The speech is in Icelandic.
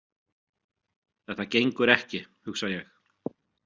Þetta gengur ekki, hugsa ég.